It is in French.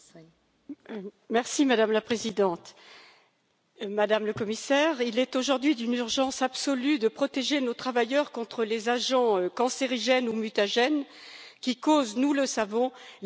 Madame la Présidente, Madame la Commissaire, il est aujourd'hui d'une urgence absolue de protéger nos travailleurs contre les agents cancérigènes ou mutagènes qui causent, nous le savons, les maladies de demain.